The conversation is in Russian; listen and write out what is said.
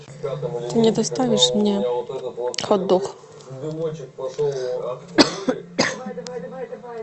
ты не доставишь мне хотдог